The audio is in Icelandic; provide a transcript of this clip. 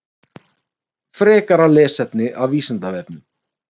Frekara lesefni af Vísindavefnum: